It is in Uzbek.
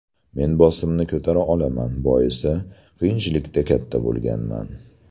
Men bosimni ko‘tara olaman, boisi, qiyinchilikda katta bo‘lganman.